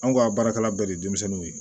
Anw ka baarakɛla bɛɛ de ye denmisɛnninw ye